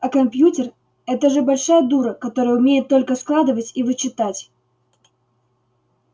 а компьютер это же большая дура которая умеет только складывать и вычитать